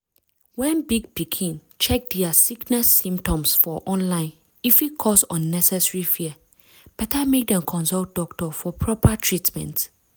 wen big pikin check dia sickness symptoms for online e fit cause unnecessary fear. better mek dem consult doctor for proper treatment.